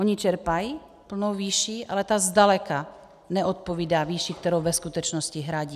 Oni čerpají plnou výši, ale ta zdaleka neodpovídá výši, kterou ve skutečnosti hradí.